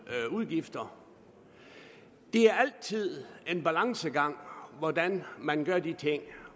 udgifter det er altid en balancegang hvordan man gør de ting